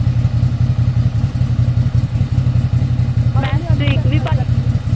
ਮੈਂ ਸਟ੍ਰੀਕ ਵੀ ਪਾ ਲੈਂਦੀ